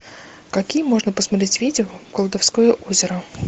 какие можно посмотреть видео колдовское озеро